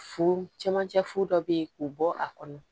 Fu cɛmancɛ fu dɔ bɛ ye k'o bɔ a kɔnɔ